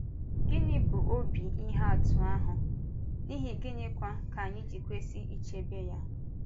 Gịnị bụ ọ̀bì ihe atụ ahụ, n’ihi gịnịkwa ka anyị ji kwesị ichebe ya?